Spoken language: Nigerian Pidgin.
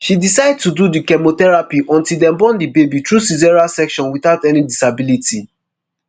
she decide to do di chemotherapy until dem born di baby through caesarean section - without any disability.